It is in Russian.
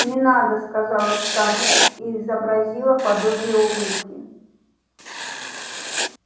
не надо сказала скарлетт и изобразила подобие улыбки